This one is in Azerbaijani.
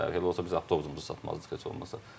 Elə olsa biz avtobusumuzu satmazdıq heç olmasa.